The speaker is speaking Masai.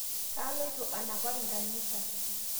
Kailoto anapar nkanisa